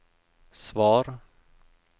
svar